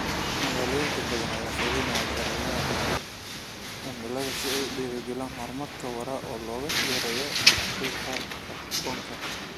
Magaalooyin badan ayaa fulinaya sharciyada aagagga cimilada si ay u dhiirigeliyaan horumar waara oo loo yareeyo qiiqa kaarboonka.